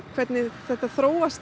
hvernig þetta þróast